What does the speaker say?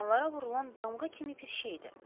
Heyvanlara vurulan damğa kimi bir şeydir.